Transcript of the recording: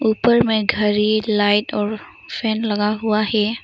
ऊपर में घड़ी लाइट और फैन लगा हुआ है।